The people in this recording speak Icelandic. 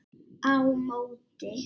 Á móti